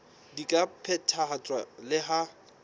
di ka phethahatswa le ha